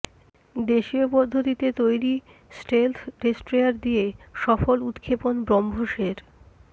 দেশীয় পদ্ধতিতে তৈরি স্টেলথ ডেস্ট্রয়ার দিয়ে সফল উৎক্ষেপণ ব্রহ্মসের